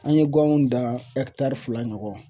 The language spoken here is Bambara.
An ye ganw dan fila ɲɔgɔn